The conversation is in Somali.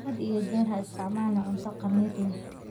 Had iyo jeer ha isticmaalin cunto khamiir leh.